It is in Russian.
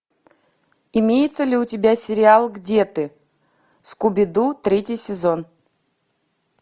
имеется ли у тебя сериал где ты скуби ду третий сезон